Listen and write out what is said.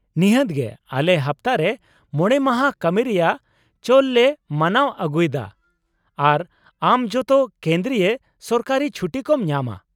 ᱱᱤᱦᱟᱹᱛ ᱜᱮ, ᱟᱞᱮ ᱦᱟᱯᱛᱟ ᱨᱮ ᱕ ᱢᱟᱦᱟ ᱠᱟᱹᱢᱤ ᱨᱮᱭᱟᱜ ᱪᱚᱞ ᱞᱮ ᱢᱟᱱᱟᱣ ᱟᱜᱩᱭ ᱫᱟ ᱟᱨ ᱟᱢ ᱡᱚᱛᱚ ᱠᱮᱱᱫᱽᱨᱤᱭᱚ ᱥᱚᱨᱠᱟᱨᱤ ᱪᱷᱩᱴᱤ ᱠᱚᱢ ᱧᱟᱢᱟ ᱾